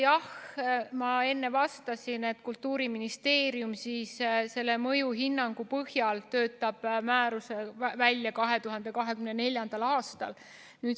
Jah, ma enne vastasin, et Kultuuriministeerium töötab mõjuhinnangu põhjal määruse välja 2024. aastal.